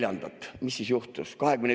siis juhtus?